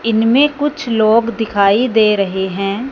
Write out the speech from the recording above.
इनमें कुछ लोग दिखाई दे रहे हैं।